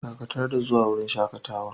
Dakatar da zuwa wurin shakatawan!